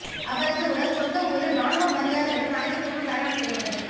அவரது உடல் சொந்த ஊரில் ராணுவ மரியாதையுடன் ஞாயிற்றுக்கிழமை தகனம் செய்யப்பட்டது